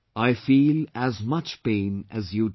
I feel as much pain as you do